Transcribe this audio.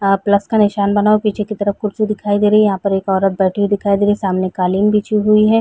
अ plus का निशान बना हुआ है। पीछे की तरफ कुर्सी दिखाई दे रही है। यहाँ पर एक औरत बैठी हुई दिखाई दे रही है। सामने कालीन बिछी हुई है।